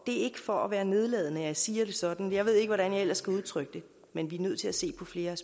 er ikke for at være nedladende at jeg siger det sådan jeg ved ikke hvordan jeg ellers skal udtrykke det men vi er nødt til at se på flere